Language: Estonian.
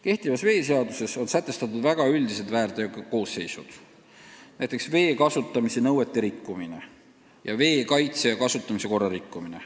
Praeguses veeseaduses on sätestatud väga üldised väärteokoosseisud, näiteks vee kasutamise nõuete rikkumine, vee kaitse ja kasutamise korra rikkumine.